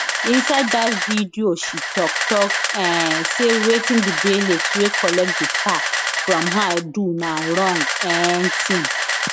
inside dat video she tok tok um say wetin di bailiffs wey collect di car from her do na wrong um tin